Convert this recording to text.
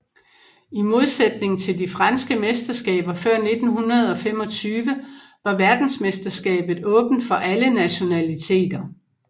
I modsætning til de franske mesterskaber før 1925 var verdensmesterskabet åbent for alle nationaliteter